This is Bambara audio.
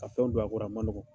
Ka fɛnw don a kɔrɔ a ma nɔgɔ